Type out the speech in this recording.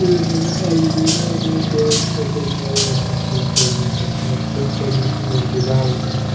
अलमीरा मे डॉल्स रखा हुआ देखने को मिल रहा है इस उपर मे हमे दिवाल तथा--